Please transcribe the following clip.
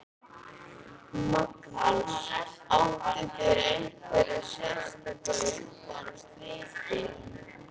Magnús: Áttu þér einhverja sérstaka uppáhalds liti?